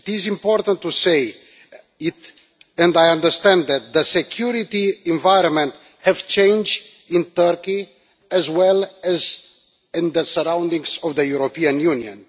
It is important to say it, and I understand that the security environment has change in Turkey as well as in the surroundings of the European Union.